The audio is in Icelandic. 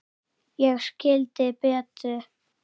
Ég skildi Betu.